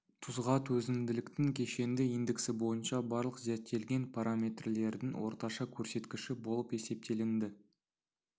тұзға төзімділіктің кешенді индексі бойынша барлық зерттелген параметрлердің орташа көрсеткіші болып есептелінді